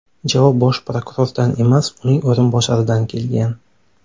Javob bosh prokurordan emas, uning o‘rinbosaridan kelgan.